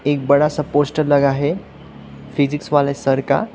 एक बड़ा सा पोस्टर लगा है फिजिक्स वाले सर का।